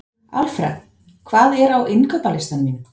Alfred, hvað er á innkaupalistanum mínum?